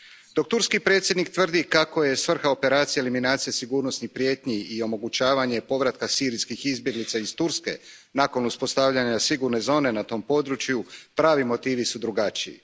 Dok turski predsjednik tvrdi kako je svrha operacije eliminacija sigurnosnih prijetnji i omogućavanje povratka sirijskih izbjeglica iz Turske nakon uspostavljanja sigurne zone na tom području, pravi motivi su drugačiji.